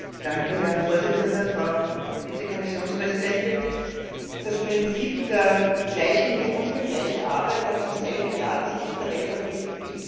Herr Präsident, Frau Vize Kommissionspräsidentin! Das Prinzip gleicher Lohn für gleiche Arbeit hat im selben Jahr das Licht der Welt erblickt, wie ich.